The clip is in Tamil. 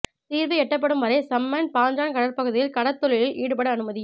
தீர்வு எட்டப்படும் வரை சம்பன் பாஞ்சான் கடற்பகுதியில் கடற்தொழிலில் ஈடுபட அனுமதி